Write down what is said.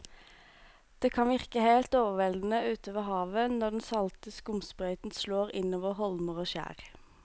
Det kan virke helt overveldende ute ved havet når den salte skumsprøyten slår innover holmer og skjær.